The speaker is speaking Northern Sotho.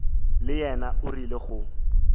le yena o rile go